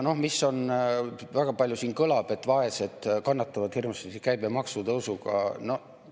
Siin on väga palju kõlanud, et vaesed kannatavad hirmsasti käibemaksu tõusuga.